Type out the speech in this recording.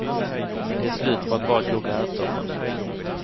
Det är slut på att bara koka ärtsoppa.